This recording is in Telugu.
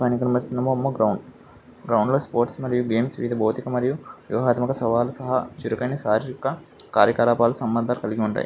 పైన కనిపిస్తున్న బొమ్మ గ్రౌండ్ గ్రౌండ్ లో స్పోర్ట్స్ మరియు గేమ్స్ వీలు బౌద్ధిక మరియు వ్యూహాత్మక సవాలు సహా చురుకైన సహజమైన కార్యకలాపాలు సంబంధం కలిగి ఉంటయి.